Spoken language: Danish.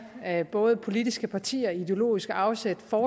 af både politiske partier ideologiske afsæt og